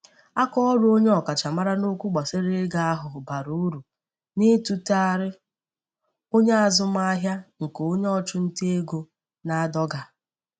akaọrụ onye ọkachamara n'okwu gbasara ego ahụ bara uru n'itụtegharị ọrụ azụmaahịa nke onye ọchụnta ego na-adọga.